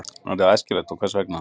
En er það æskilegt og hvers vegna?